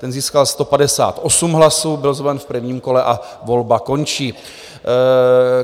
Ten získal 158 hlasů, byl zvolen v prvním kole a volba končí.